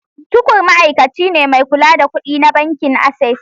Tukur ma’aikaci ne mai kula da kudi na bankin Access.